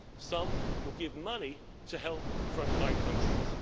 some will give money to help frontline countries.